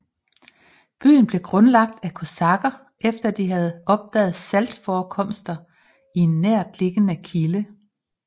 Byen blev grundlagt af kosakker efter de havde opdaget saltforekomster i en nærtliggende kilde